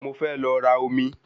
Mo fẹ́ lọ ra omi